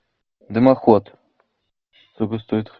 дымоход сколько стоит